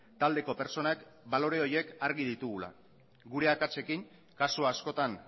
taldeko pertsonak balore horiek argi ditugula gure akatsekin kasu askotan